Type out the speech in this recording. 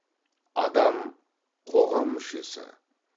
адам қоғам мүшесі